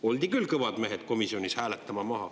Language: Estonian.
Oldi küll kõvad mehed komisjonis maha hääletama.